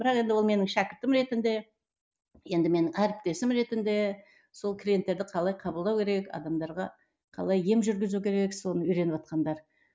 бірақ енді ол менің шәкіртім ретінде енді менің әріптесім ретінде сол клиенттерді қалай қабылдау керек адамдарға қалай ем жүргізу керек соны үйреніватқандар